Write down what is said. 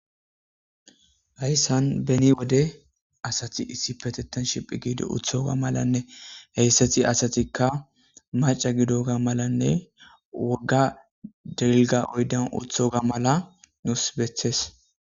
Hayssan beni wode asati issi petettan shiphi giido uthoga malanne heyssati asatikka maca gidoga malanne wogga dilga oyden uthoga mala nus bethes.